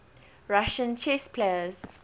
russian chess players